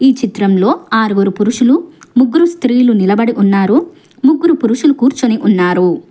ఈ చిత్రంలో ఆరుగురు పురుషులు ముగ్గురూ స్త్రీలు నిలబడి ఉన్నారు ముగ్గురు పురుషులు కూర్చొని ఉన్నారు.